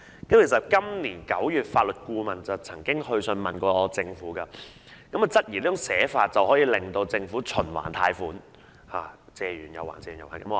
法律顧問今年9月曾致函政府，質疑這種寫法令政府可以循環貸款，重複不斷。